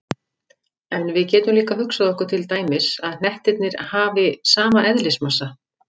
En við getum líka hugsað okkur til dæmis að hnettirnir hafi sama eðlismassa.